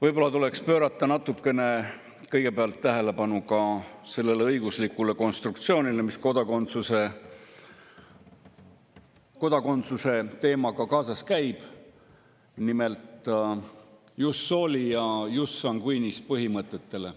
Võib-olla tuleks kõigepealt pöörata natukene tähelepanu ka sellele õiguslikule konstruktsioonile, mis kodakondsuse teemaga kaasas käib, nimelt jus soli ja jus sanguinis põhimõtetele.